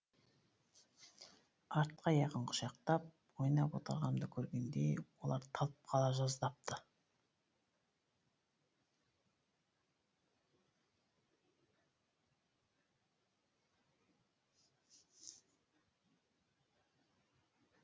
артқы аяғын құшақтап ойнап отырғанымды көргенде олар талып қала жаздапты